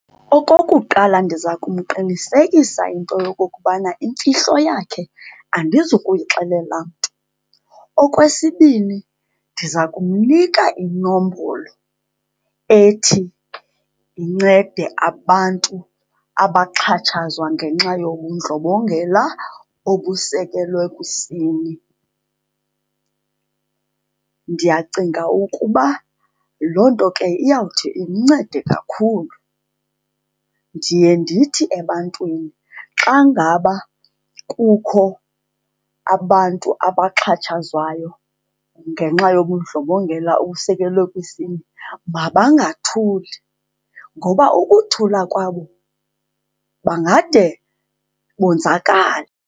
Okokuqala, ndiza kumqinisekisa into yokokubana imfihlo yakhe andizukuyixelela mntu. Okwesibini, ndiza kumnika inombolo ethi incede abantu abaxhatshazwa ngenxa yobundlobongela obusekelwe kwisini. Ndiyacinga ukuba loo nto ke iyawuthi imncede kakhulu. Ndiye ndithi ebantwini xa ngaba kukho abantu abaxhatshazwayo ngenxa yobundlobongela obusekelwe kwisini mabangathuli ngoba ukuthula kwabo bangade bonzakale.